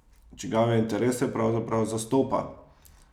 Čigave interese pravzaprav zastopa?